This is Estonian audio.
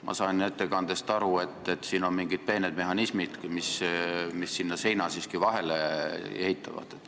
Ma sain ettekandest aru, et siin on mingid peened mehhanismid, mis sinna siiski seina vahele ehitavad.